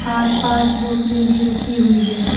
आसपास बोतले भी रखी हुई है।